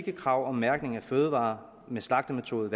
eu krav om mærkning af fødevarer om slagtemetode